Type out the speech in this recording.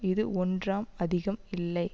இது ஒன்றாம் அதிகம் இல்லை